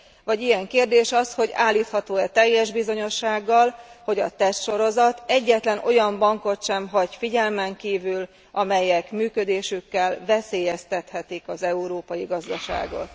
Vagy ilyen kérdés az, hogy állítható e teljes bizonyossággal, hogy a tesztsorozat egyetlen olyan bankot sem hagy figyelmen kívül, amelyek működésükkel veszélyeztethetik az európai gazdaságot.